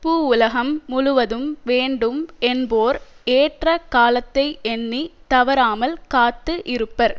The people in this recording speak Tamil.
பூவுலகம் முழுவதும் வேண்டும் என்போர் ஏற்ற காலத்தை எண்ணி தவறாமல் காத்து இருப்பர்